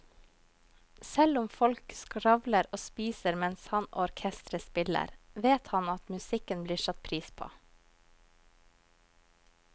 Selv om folk skravler og spiser mens han og orkesteret spiller, vet han at musikken blir satt pris på.